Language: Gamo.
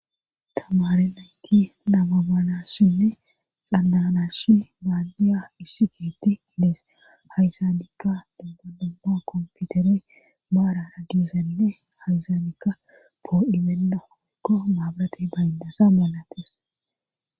Tamari nanki namaganashinne xandanashi baandiya isshi geti hidees hayzaanikka dumma dumma komputere baara agizanne hayzaanika poo'ibenda kokko maabrate bayndasa moolates.